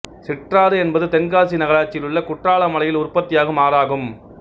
சிற்றாறு என்பது தென்காசி நகராட்சியிலுள்ள குற்றால மலையில் உற்பத்தியாகும் ஆறாகும்